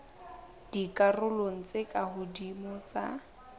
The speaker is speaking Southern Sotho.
dikarolong tse ka hodimo tsa